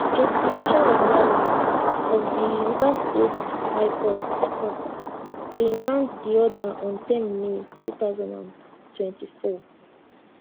justice charles wali of di rivers state high court court bin grant di order on ten may 2024